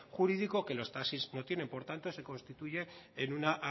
jurídico que los taxis no tienen por tanto se constituye en una